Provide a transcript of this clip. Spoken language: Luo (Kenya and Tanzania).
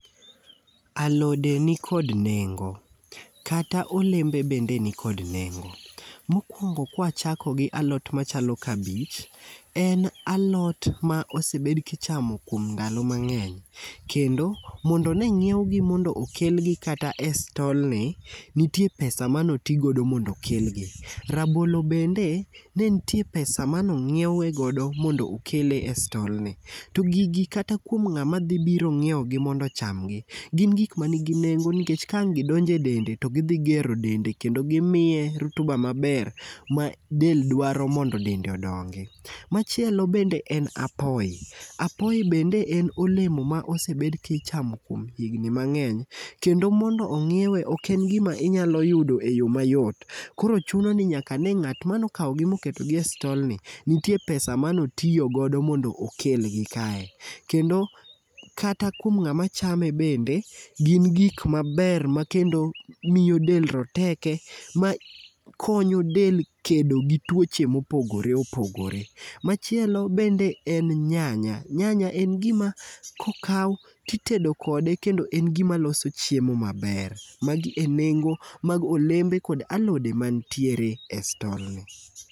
Alode nikod nengo. Kata olembe bende nikod nengo. Mokuongo kwachako gi alot machalo kabich, en aot ma osebed ka ichamo kuom ndalo mang'eny. Kendo ondo ne ong'iewgi mondo okelgi kata e stolni, nitie pesa mane oti godo mondo okelgi. Rabolo bende ne nitie pesa mane ong'iewe godo mondo okele e stol ni. To gigi kata kuom ng'ama dhi biro ng'iewogi mondo ocham gi, gin gik manigi nengo nikech ka ang' gi donjo e dendo to gidhi gero dende kendo gimiye rutuba maber ma del dwaro mondo dende odongi. Machielo bende en apoyo. Apoyo bende en olemo ma osebedo ka ichamo kuom higni mang'eny kendo mondo ong'iewe, ok en gima inyalo yudo e yo mayot. Koro chuno ni nyaka ne ng'at mane okawogi moketogi e stol ni nitie pesa mane otiyo godo mondo okelgi kae. Kendo kata kuom ng'ama chame bende gin gik maber makendo miyo del roteke makonyo del kedo gi tuoche mopogore opogore. Machielo bende en nyanya. Nyanya en gima kokaw to itedo kode kendo en gima loso chiemo maber. Magi e nengo mag olembe kod alode mantiere e stolni.